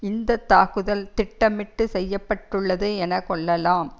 இந்த தாக்குதல் திட்டமிட்டு செய்ய பட்டுள்ளது என கொள்ளலாம்